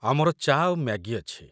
ଆମର ଚା' ଆଉ ମ୍ୟାଗି ଅଛି ।